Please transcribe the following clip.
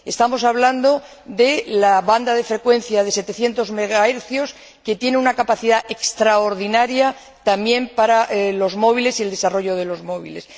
Estamos hablando de la banda de frecuencia de 700 MHz, que tiene una capacidad extraordinaria también para los móviles y el desarrollo de los móviles.